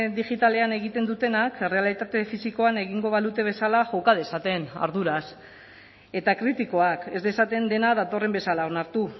digitalean egiten dutenak errealitate fisikoan egingo balute bezala joka dezaten arduraz eta kritikoak ez dezaten dena datorren bezala onartu